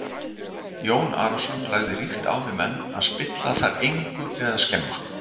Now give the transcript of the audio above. Jón Arason lagði ríkt á við menn að spilla þar engu eða skemma.